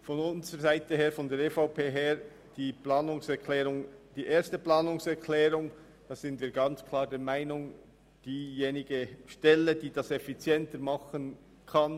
Die EVP-Fraktion ist bezüglich der Planungserklärung 1 klar der Meinung, dass es diejenige Stelle tun soll, die es effizienter tun kann.